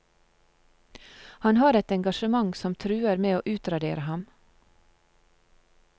Han har et engasjement som truer med å utradere ham.